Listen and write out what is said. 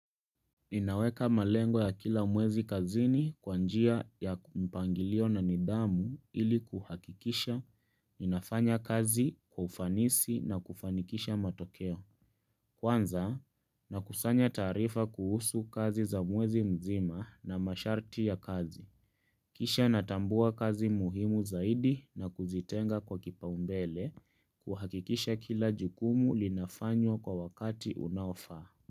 Ninaweka malengo ya kila mwezi kazini kwa njia ya mpangilio na nidhamu ili kuhakikisha inafanya kazi kwa ufanisi na kufanikisha matokeo. Kwanza nakusanya taarifa kuhusu kazi za mwezi mzima na masharti ya kazi. Kisha natambua kazi muhimu zaidi na kuzitenga kwa kipa umbele kuhakikisha kila jukumu linafanywa kwa wakati unaofaa.